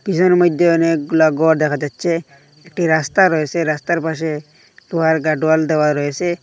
পিসের মধ্যে অনেকগুলা ঘর দেখা যাচ্ছে একটি রাস্তা রয়েসে রাস্তার পাশে গাড ওয়াল দেওয়া রয়েসে।